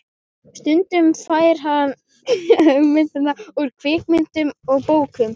Stundum fær hann hugmyndir úr kvikmyndum og bókum.